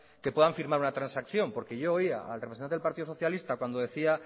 que puedan firmar una transacción porque yo oía al representante del partido socialista cuando decía